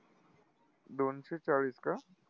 दोनशे चाळीस का?